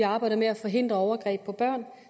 har arbejdet med at forhindre overgreb på børn